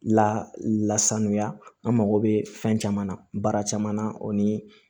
Lasanuya an mago bɛ fɛn caman na baara caman na o ni